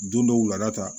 Don dɔw wula ta